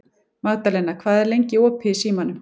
Magðalena, hvað er lengi opið í Símanum?